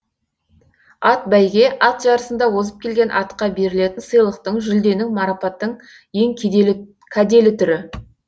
атбәйге ат жарысында озып келген атқа берілетін сыйлықтың жүлденің марапаттың ең кәделі түрі